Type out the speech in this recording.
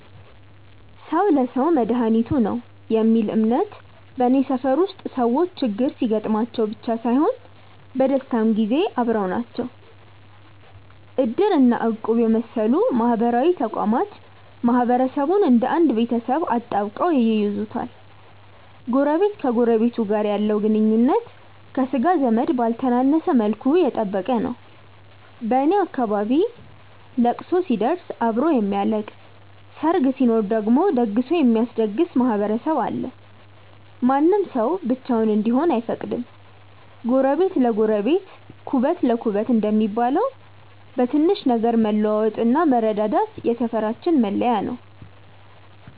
"ሰው ለሰው መድኃኒቱ ነው" የሚል እምነት በኔ ሰፈር ውስጥ ሰዎች ችግር ሲገጥማቸው ብቻ ሳይሆን በደስታም ጊዜ አብረው ናቸው። እድር እና እቁብ የመሰሉ ማህበራዊ ተቋማት ማህበረሰቡን እንደ አንድ ቤተሰብ አጣብቀው ይይዙታል። ጎረቤት ከጎረቤቱ ጋር ያለው ግንኙነት ከሥጋ ዘመድ ባልተነሰ መልኩ የጠበቀ ነው። በኔ አካባቢ ለቅሶ ሲደርስ አብሮ የሚያለቅስ፣ ሰርግ ሲኖር ደግሞ ደግሶ የሚያስደግስ ማህበረሰብ አለ። ማንም ሰው ብቻውን እንዲሆን አይፈቀድም። "ጎረቤት ለጎረቤት ኩበት ለኩበት" እንደሚባለው፣ በትንሽ ነገር መለዋወጥና መረዳዳት የሰፈራችን መለያ ነው።